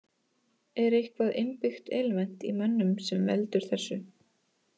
Er eitthvað innbyggt element í mönnum sem veldur þessu?